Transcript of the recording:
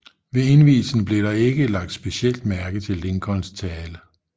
Ved indvielsen blev der ikke lagt specielt mærke til Lincolns tale